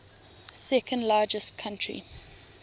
second largest country